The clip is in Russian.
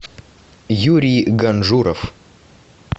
юрий ганжуров